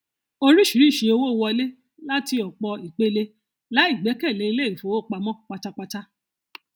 oríṣìíríṣìí owó wọlé láti òpọ ìpele láì gbẹkẹlé ilé ìfowópamọ pátápátá